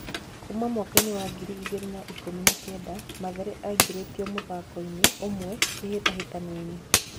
Kuma mwakainĩ wa ngiri igĩrĩ na ikũmi na kenda Mathare aingĩritio muthakoinĩ ũmwe kĩhĩtahĩtanoinĩ.